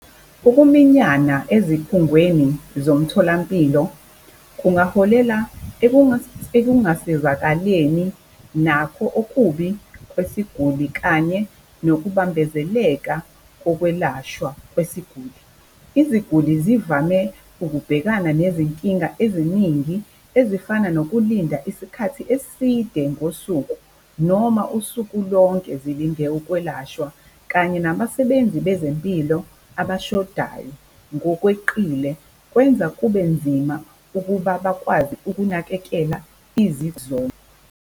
Ukuminyana ezikhungweni zomtholampilo kungaholela ekungasizakaleni nakho okubi kwesiguli, kanye nokubambezeleka kokwelashwa kwesiguli. Iziguli zivame ukubhekana nezinkinga eziningi ezifana nokulinda isikhathi eside ngosuku noma usuku lonke zilinde ukwelashwa, kanye nabasebenzi bezempilo abashodayo ngokweqile kwenza kubenzima ukuba bakwazi ukunakekela .